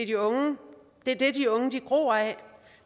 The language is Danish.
de unge gror af